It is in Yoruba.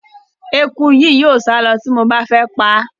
Eku yìí yóò sálọ ti mo bá fẹ́ paá.